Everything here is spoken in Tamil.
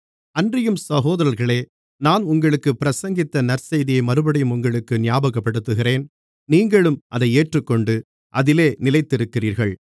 அன்றியும் சகோதரர்களே நான் உங்களுக்குப் பிரசங்கித்த நற்செய்தியை மறுபடியும் உங்களுக்கு ஞாபகப்படுத்துகிறேன் நீங்களும் அதை ஏற்றுக்கொண்டு அதிலே நிலைத்திருக்கிறீர்கள்